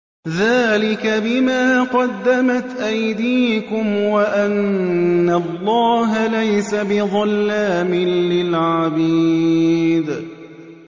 ذَٰلِكَ بِمَا قَدَّمَتْ أَيْدِيكُمْ وَأَنَّ اللَّهَ لَيْسَ بِظَلَّامٍ لِّلْعَبِيدِ